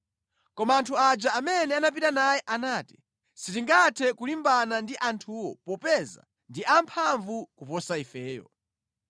Koma anthu aja amene anapita naye anati, “Sitingathe kulimbana ndi anthuwo popeza ndi amphamvu kuposa ifeyo.”